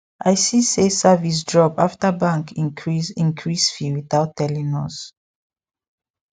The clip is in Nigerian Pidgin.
i see say service drop after bank increase increase fee without telling us